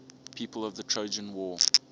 people of the trojan war